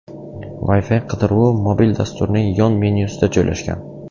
Wi-Fi qidiruvi mobil dasturning yon menyusida joylashgan.